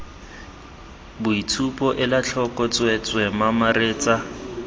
boitshupo ela tlhoko tsweetswee mamaretsa